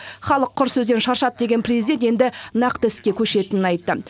халық құр сөзден шаршады деген президент енді нақты іске көшетінін айтты